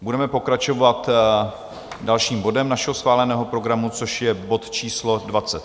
Budeme pokračovat dalším bodem našeho schváleného programu, což je bod číslo